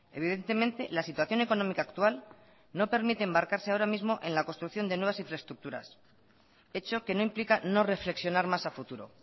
evidentemente la situación económica actual no permite embarcarse ahora mismo en la construcción de nuevas infraestructuras hecho que no implica no reflexionar más a futuro